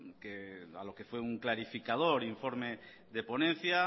a lo que fue un clarificador informe de ponencia